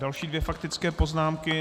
Další dvě faktické poznámky.